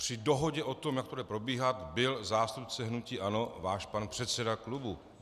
Při dohodě o tom, jak to bude probíhat, byl zástupce hnutí ANO, váš pan předseda klubu.